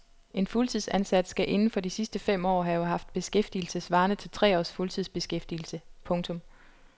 En fuldtidsansat skal inden for de sidste fem år have haft beskæftigelse svarende til tre års fuldtidsbeskæftigelse. punktum